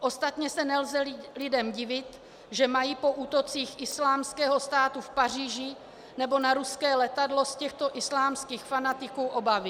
Ostatně se nelze lidem divit, že mají po úrocích Islámského státu v Paříži nebo na ruské letadlo z těchto islámských fanatiků obavy."